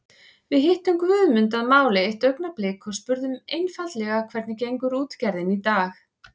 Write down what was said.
Við hittum Guðmund að máli eitt augnablik og spurðum einfaldlega hvernig gengur útgerðin í dag?